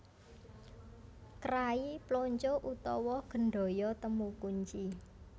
Krai Plonco utawa Gendhoyo Temu Kunci